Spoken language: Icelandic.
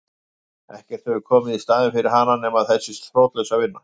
Ekkert hefur komið í staðinn fyrir hana nema þessi þrotlausa vinna.